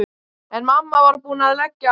En mamma var búin að leggja á.